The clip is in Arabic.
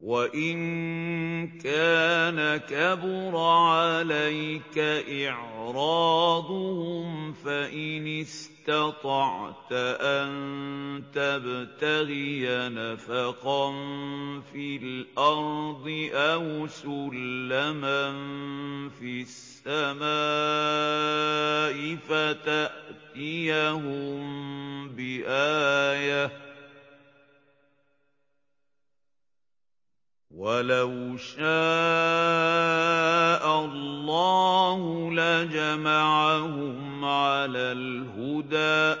وَإِن كَانَ كَبُرَ عَلَيْكَ إِعْرَاضُهُمْ فَإِنِ اسْتَطَعْتَ أَن تَبْتَغِيَ نَفَقًا فِي الْأَرْضِ أَوْ سُلَّمًا فِي السَّمَاءِ فَتَأْتِيَهُم بِآيَةٍ ۚ وَلَوْ شَاءَ اللَّهُ لَجَمَعَهُمْ عَلَى الْهُدَىٰ ۚ